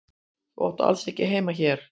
Þú átt alls ekki heima hér.